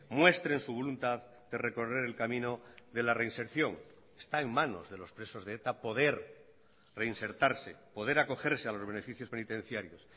muestren su voluntad de recorrer el camino de la reinserción está en manos de los presos de eta poder reinsertarse poder acogerse a los beneficios penitenciarios